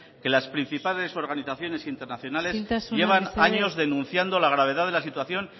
que las principales organizaciones internacionales llevan años denunciando la gravedad de la situación